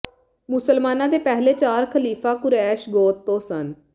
ਮੁਸਲਮਾਨਾਂ ਦੇ ਪਹਿਲੇ ਚਾਰ ਖਲੀਫ਼ਾ ਕੁਰੈਸ਼ ਗੋਤ ਤੋਂ ਸਨ